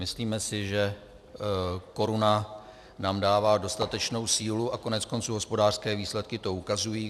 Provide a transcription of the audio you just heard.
Myslíme si, že koruna nám dává dostatečnou sílu, a koneckonců hospodářské výsledky to ukazují.